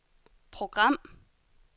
program